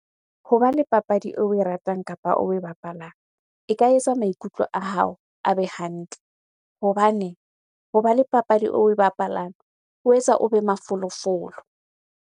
Hoba le papadi oe ratang kapa oe bapalang. E ka etsa maikutlo a hao a be hantle hobane hoba le papadi oe bapalang, o etsa o be mafolofolo.